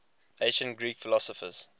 ancient greek philosophers